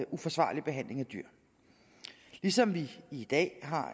uforsvarlig behandling af dyr ligesom vi i dag har